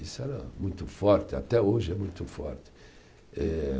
Isso era muito forte, até hoje é muito forte. Eh